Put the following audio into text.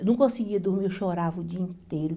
Eu não conseguia dormir, eu chorava o dia inteiro.